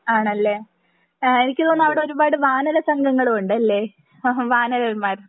ആണല്ലേ ആഹ് എനിക്ക് തോന്നുന്നത് അവിടെ കൊറേ വാനര സംഘങ്ങളും ഉണ്ടല്ലേ ഹഹ വാനരന്മാർ